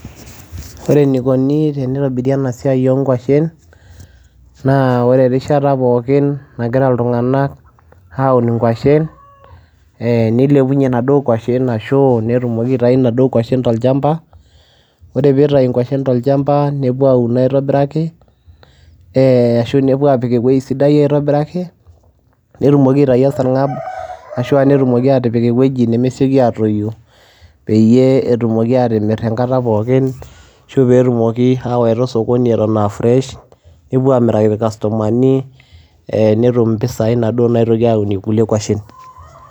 ore enikoni teneitobiri ena siai oonkwashen, naa ore erishata pookin nagira iltung'anak aun inkwashen. nilepunye inaduoo kwashen ashu netumoki aitayu inaduoo kwashen tolchampa. ore pee eitayu eitayu nkwashen tolchampa nepuo aun aitobiraki.ee ashu nepuo aapik ewuei sidai aitobiraki. netumoki aitayaua aesargam, ashu nepik ewueji nemesioki atayu pee emir enkata pookin. ashu pee etumoki aawaita osokoni. eton aa fresh nepuo aamiraki irkastomani, ee netum mpisai naitoki aunie inaduoo kwashen.